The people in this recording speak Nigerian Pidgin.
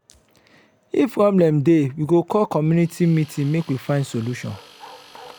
if problem dey we go call community meeting make we find solution.